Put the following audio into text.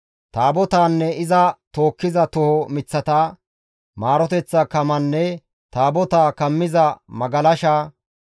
Taabotaanne iza tookkiza toho miththata, atto geetettiza kamanne Taabotaa kammiza magalasha,